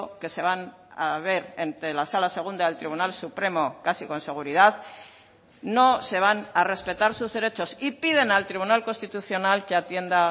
que se van a ver entre la sala segunda del tribunal supremo casi con seguridad no se van a respetar sus derechos y piden al tribunal constitucional que atienda